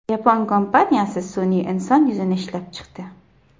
Yapon kompaniyasi sun’iy inson yuzini ishlab chiqdi.